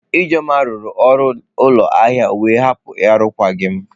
Ijeoma rụrụ ọrụ ụlọ ahịa wee hapụ arụkwaghịm.